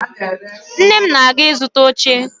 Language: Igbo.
Nne m na-aga ịzụta oche